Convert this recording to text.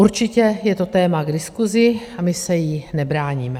Určitě je to téma k diskusi a my se jí nebráníme.